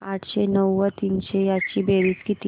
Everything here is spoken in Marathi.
आठशे नऊ व तीनशे यांची बेरीज किती